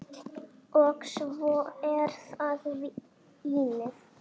Og svo er það vínið.